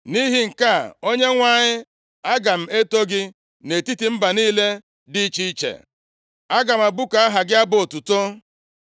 Nʼihi nke a, Onyenwe anyị, aga m eto gị nʼetiti mba niile dị iche iche. Aga m abụku aha gị abụ otuto.